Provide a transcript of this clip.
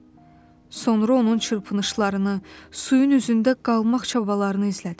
Sonra onun çırpınışlarını, suyun üzündə qalmaq çabalarını izlədim.